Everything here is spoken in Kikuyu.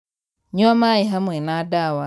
Nyua maī hamwe na ndawa.